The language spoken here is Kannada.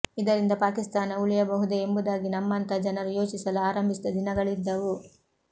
ಇದರಿಂದ ಪಾಕಿಸ್ತಾನ ಉಳಿಯಬಹುದೇ ಎಂಬುದಾಗಿ ನಮ್ಮಂಥ ಜನರು ಯೋಚಿಸಲು ಆರಂಭಿಸಿದ ದಿನಗಳಿದ್ದವು